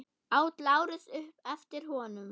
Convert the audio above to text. át Lárus upp eftir honum.